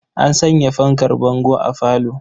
An sanya fankar bango a falo.